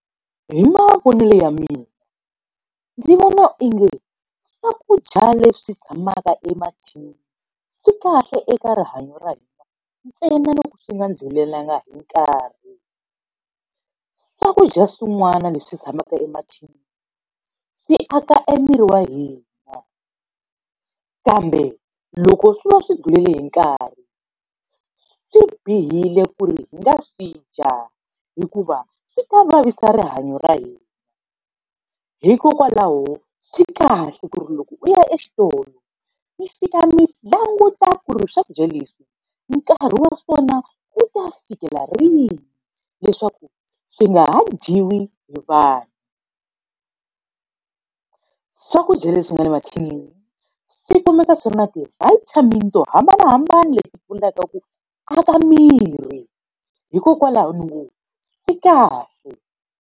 Hi mavonele ya mina, ndzi vona onge swakudya leswi tshamaka emathinini swi kahle eka rihanyo ra hina ntsena loko swi nga ndzi tlulelanga hi nkarhi. Swakudya swin'wana leswi tshamaka emathinini, swi aka emirini wa hina. Kambe loko swi va swi tlulele hi nkarhi, swi bihile ku ri hi nga swi dya hikuva swi ta vavisa rihanyo ra hina. Hikokwalaho swi kahle ku ri loko u ya exitolo mi fika mi languta ku ri swakudya leswi nkarhi wa swona ku ta fikela rini, leswaku swi nga ha dyiwi hi vanhu. Swakudya leswi nga le mathinini swi kumeka swona ti-vitamin to hambanahambana leti pfunaka ku aka miri, hikokwalaho ni ngo swi kahle.